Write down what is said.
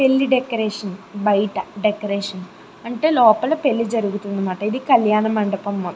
పెళ్లి డెకొరేషన్ బైట డెకొరేషన్ అంటే లోపట పెళ్లి జరుగుతన్నమాట ఇది కల్యాణ మండపం